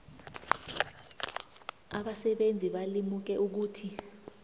abasebenzi balimuke ukuthi